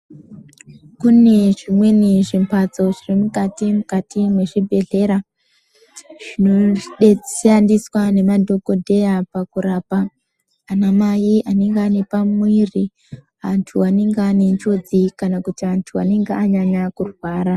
Kune zvimweni zvimbatso zvirimukati mukati muzvibhehlera zvinode zvinoshandiswa ngemadhokotera pakurapa ana mai vanege vane pamuviri antu anenge ane njodzi kana antu anenge anyanya kurwara.